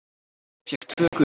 Fékk tvö gul.